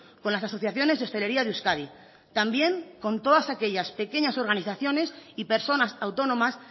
con las asociaciones de hostelería de euskadi también con todas aquellas pequeñas organizaciones y personas autónomas